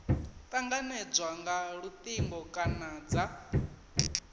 tanganedzwa nga lutingo kana dza